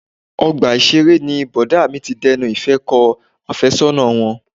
Ọgbà ìṣeré ni Bọ̀dá mi ti dẹnu ìfẹ́ kọ àfẹ́sọ́nà wọn.